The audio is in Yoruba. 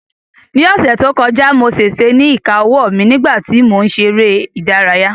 Ní ọ̀sẹ̀ tó kọjá mo ṣèṣe ní ìka owó mi nígbà tí mò ń ṣe eré ìdárayá